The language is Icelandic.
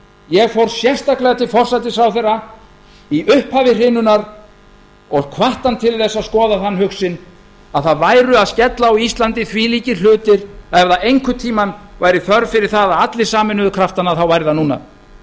ég fór sérstaklega til forsætisráðherra í upphafi hrinunnar og hvatti hann til þess að skoða þann hug sinn að það væru að skella á íslandi þvílíkir hlutir að ef einhvern tíma væri þörf fyrir að allir sameinuðu kraftana væri það núna